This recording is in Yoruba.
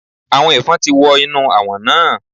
Àwọn Ẹ̀fọn ti wọ inú Àwọ̀n náà.